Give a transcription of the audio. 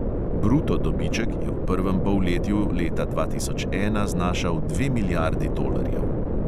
Bruto dobiček je v prvem polletju leta dva tisoč ena znašal dve milijardi tolarjev.